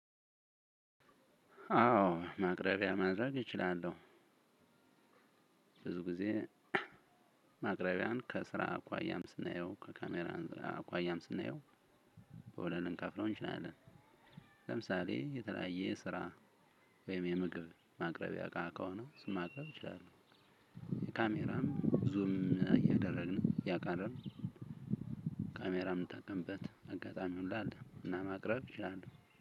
አዎ ማቅረቢያ ማድረግ እችላለሁ። ብዙ ጊዜ። ማቅረቢያን ከስራ አኳያም ስናየው ከካሜራ ስራ አኳያም ስናየው። በሁለት ልንከፍለው እንችላለን። ለምሳሌ የተለያየ ስራ። ወይም የምግብ ማቅረቢያ እቃ ከሆነ እሱን ማቅረብ እችላለሁ። ካሜራም ዙም እያደረግን እያቀረብን። የምንጠቀምበት አጋጣሚ ሁሉ አለ እና ማቅረብ እችላለሁ